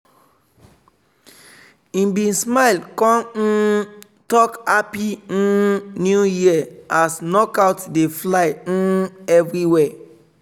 he bin smile con um talk "happy um new year" as knockout dey fly um everiwhere.